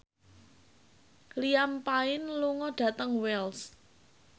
Liam Payne lunga dhateng Wells